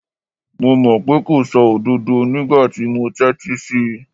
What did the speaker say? Mo mọ̀ pé kò sọ òdodo nígbà tí mo ń tẹ́tí sí í.